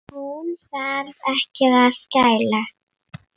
Hún þarf ekki að skæla.